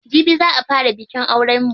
Jibi za a fara bikin auren mu.